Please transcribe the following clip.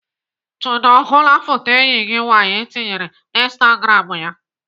Chude ọ hụla foto enyi gị nwaanyị tinyere na instagram ya?